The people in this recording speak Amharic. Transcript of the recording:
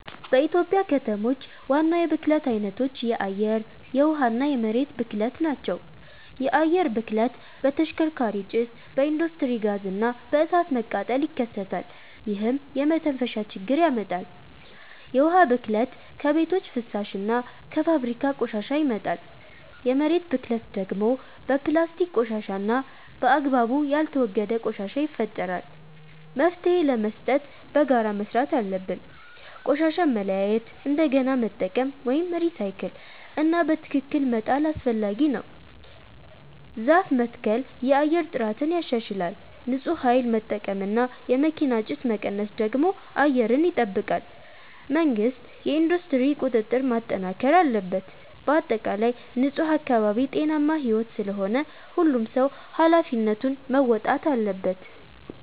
በኢትዮጵያ ከተሞች ዋና የብክለት አይነቶች የአየር፣ የውሃ እና የመሬት ብክለት ናቸው። የአየር ብክለት በተሽከርካሪ ጭስ፣ በኢንዱስትሪ ጋዝ እና በእሳት መቃጠል ይከሰታል፣ ይህም የመተንፈሻ ችግር ያመጣል። የውሃ ብክለት ከቤቶች ፍሳሽ እና ከፋብሪካ ቆሻሻ ይመጣል። የመሬት ብክለት ደግሞ በፕላስቲክ ቆሻሻ እና በአግባቡ ያልተወገደ ቆሻሻ ይፈጠራል። መፍትሄ ለመስጠት በጋራ መስራት አለብን። ቆሻሻን መለያየት፣ እንደገና መጠቀም (recycle) እና በትክክል መጣል አስፈላጊ ነው። ዛፍ መትከል የአየር ጥራትን ያሻሽላል። ንፁህ ኃይል መጠቀም እና የመኪና ጭስ መቀነስ ደግሞ አየርን ይጠብቃል። መንግሥት የኢንዱስትሪ ቁጥጥር ማጠናከር አለበት። በአጠቃላይ ንፁህ አካባቢ ጤናማ ሕይወት ስለሆነ ሁሉም ሰው ኃላፊነቱን መወጣት አለበት።